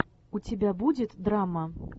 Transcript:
у тебя будет драма